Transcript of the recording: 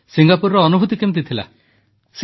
ସିଙ୍ଗାପୁରର ଅନୁଭୂତି କିପରି ରହିଲା